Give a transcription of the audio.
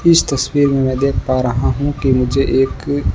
इस तस्वीर में मैं देख पा रहा हूं कि मुझे एक--